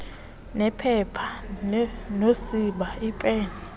nephepha nosiba iipen